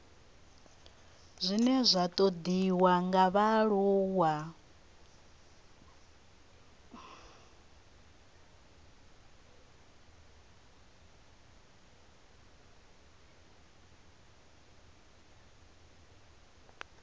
zwine zwa ṱoḓwa nga vhaaluwa